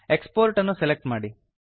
export ಅನ್ನು select ಮಾಡಿ